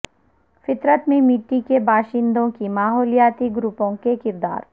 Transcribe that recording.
فطرت میں مٹی کے باشندوں کے ماحولیاتی گروپوں کے کردار